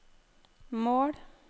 mål